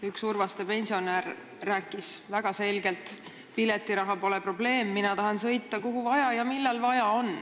Üks Urvaste pensionär rääkis väga selgelt: piletiraha pole probleem, mina tahan sõita sinna, kuhu ja millal vaja on.